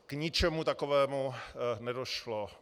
K ničemu takovému nedošlo.